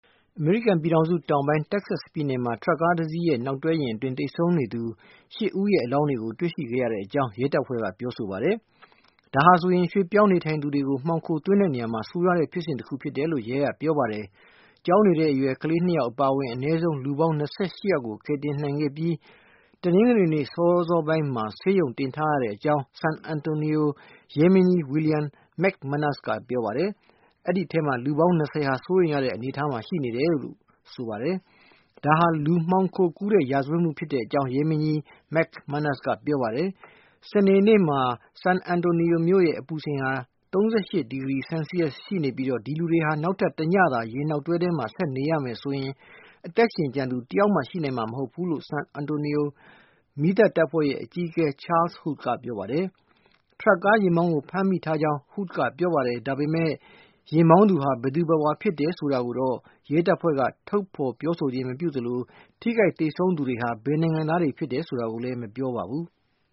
အမေရိကန်ပြည်ထောင်စု တောင်ပိုင်း Texas ပြည်နယ်မှာ ထရပ်ကားတစီးရဲ့ နောက်တွဲယာဉ်အတွင်း သေဆုံးနေသူ ၈ ဦး ရဲ့ အလောင်းတွေကို တွေ့ရှိခဲ့ရကြောင်း ရဲတပ်ဖွဲ့ကပြောဆိုပါတယ်။ ဒါဟာဆိုရင် ရွှေ့ပြောင်းနေထိုင်သူ တွေကို မှောင်ခို သွင်းနေရာမှာ ဆိုးရွားတဲ့ ဖြစ်စဉ်တခုလို့ ရဲကပြောပါတယ်။ ကျောင်းနေတဲ့ အရွယ် ကလေး ၂ ယောက် အပါအဝင် အနည်းဆုံး လူပေါင်း ၂၈ ယောက်ကို ကယ်တင် နိုင်ခဲ့ပြီး တနင်္ဂနွေနေ့ စောစောပိုင်းမှာ ဆေးရုံတင်ထားရကြောင်း San Antonio ရဲမင်းကြီး William McManus က ပြောပါတယ်။ အဲဒီအထဲက လူပေါင်း ၂၀ ဟာ စိုးရိမ်ရတဲ့ အနေအထားမှာ ရှိနေတယ်လို့ ဆိုပါတယ်။ ဒါဟာ လူမှောင်ခိုကူးတဲ့ ရာဇဝတ်မှု ဖြစ်ကြောင်း ရဲမင်းကြီး McManus က ပြောပါတယ်။ စနေနေ့မှာ San Antonio မြို့ အပူချိန်ဟာ ၃၈ ဒီဂရီ ဆယ်လ်စီရပ်စ် ရှိနေပြီး၊ ဒီလူတွေဟာ နောက်ထပ် တညသာ ယာဉ်နောက်တွဲ ထဲမှာ ဆက်နေရမယ်ဆိုရင် အသက်ရှင်ကျန်သူ တယောက်မှ ရှိနိုင်မှာ မဟုတ်ကြောင်း ဆန်အန်တိုနီယို မီးသတ်တပ်ဖွဲ့ရဲ့ အကြီးအကဲ Charles Hood ကပြောပါတယ်။ ထရပ်ကား ယာဉ်မောင်းကို ဖမ်းဆီးထားကြောင်း Hood က ပြောပါတယ်။ ဒါပေမဲ့ ယာဉ်မောင်းသူဟာ ဘယ်သူဘယ်ဝါ ဖြစ်တယ်ဆိုတာ ကိုတော့ ရဲတပ်ဖွဲ့က ထုတ်ဖေါ်မပြောသလို၊ ထိခိုက် သေဆုံးသူတွေဟာ ဘယ်နိုင်ငံသားတွေ ဖြစ်တယ် ဆိုတာကိုလည်း မပြောပါဘူး။